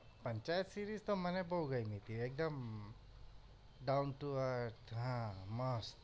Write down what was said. panchayat series તો મને બહુ ગમી તી એકદમ down to earth હા મસ્ત